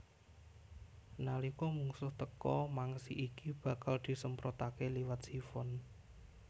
Nalika mungsuh teka mangsi iki bakal disemprotaké liwat sifon